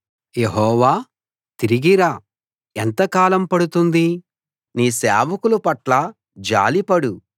యెహోవా తిరిగి రా ఎంతకాలం పడుతుంది నీ సేవకుల పట్ల జాలి పడు